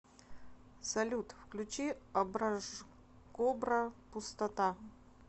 салют включи образкобра пустота